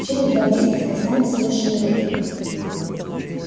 через два месяца я стану совершеннолетним